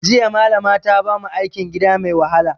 Jiya Malama ta bamu aikin gida mai wahala